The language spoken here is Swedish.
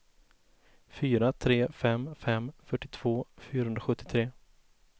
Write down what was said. fyra tre fem fem fyrtiotvå fyrahundrasjuttiotre